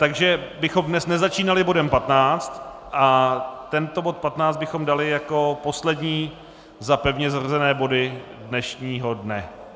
Takže bychom dnes nezačínali bodem 15 a tento bod 15 bychom dali jako poslední za pevně zařazené body dnešního dne.